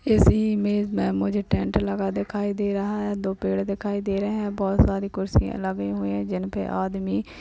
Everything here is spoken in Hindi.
इस इमेज में मुझे टेंट लगा दिखाई दे रहा है। दो पेड़ दिखाई दे रहे हैं। बहुत सारी कुर्सियां लगी हुई है। जिन पे आदमी --